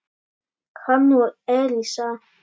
hann og Elísa.